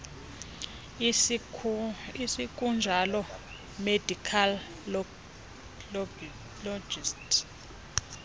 isekunjalo medical logistics